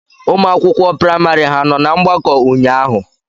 Ụmụ akwụkwọ praịmari ha nọ na mgbakọ ụnyaahụ?